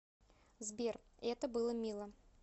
сбер это было мило